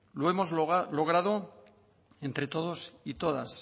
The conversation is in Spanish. lo hemos logrado entre todos y todas